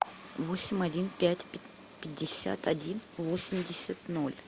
восемь один пять пятьдесят один восемьдесят ноль